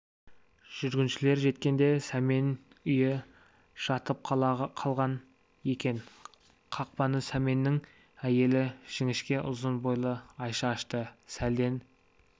жүргіншілер жеткенде сәмен үйі жатып қалған екен қақпаны сәменнің әйелі жіңішке ұзын бойлы айша ашты сәлден